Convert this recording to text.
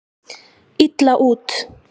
illa út.